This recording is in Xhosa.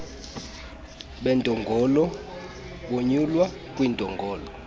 beentolongo bonyulwa kwiintolongo